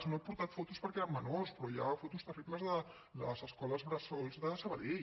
no n’he portat fotos perquè eren menors però hi ha fotos terribles de les escoles bressol de sabadell